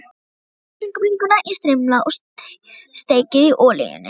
Skerið kjúklingabringurnar í strimla og steikið í olíunni.